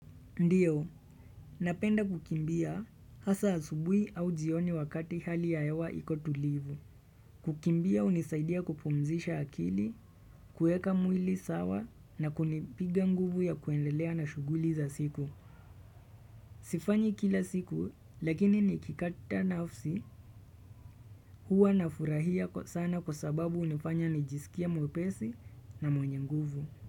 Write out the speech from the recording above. Ndiyo, napenda kukimbia hasa asubuhi au jioni wakati hali ya hewa iko tulivu. Kukimbia hunisaidia kupumzisha akili, kueka mwili sawa na kunipiga nguvu ya kuendelea na shughuli za siku. Sifanyi kila siku lakini nikipata nafsi huwa nafurahia kwa sana kwa sababu hunifanya nijisikie mwepesi na mwenye nguvu.